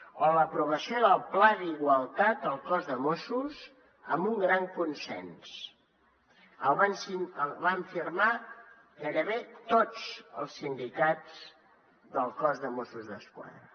o l’aprovació del pla d’igualtat al cos de mossos amb un gran consens el van firmar gairebé tots els sindicats del cos de mossos d’esquadra